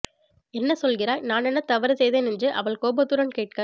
என்ன சொல்கிறாய் நான் என்ன தவறு செய்தேன் என்று அவள் கோபத்துடன் கேட்க